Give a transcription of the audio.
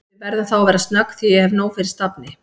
Við verðum þá að vera snögg því ég hef nóg fyrir stafni